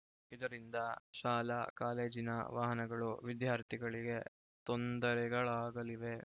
ಇದರಿಂದ ಶಾಲಾ ಕಾಲೇಜಿನ ವಾಹನಗಳು ವಿದ್ಯಾರ್ಥಿಗಳಿಗೆ ತೊಂದರೆಗಳಾಗಲಿವೆ